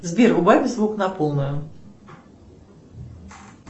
сбер убавь звук на полную